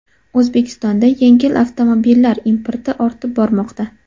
O‘zbekistonda yengil avtomobillar importi ortib bormoqda.